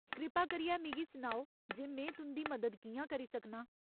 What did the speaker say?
कृपा करियै मिगी सनाओ जे में तुं'दी मदद कि'यां करी सकनां।